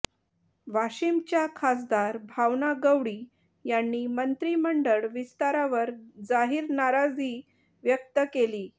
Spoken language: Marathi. वाशीमच्या खासदार भावना गवळी यांनी मंत्रिमंडळ विस्तारावर जाहीर नाराजी व्यक्त केलीय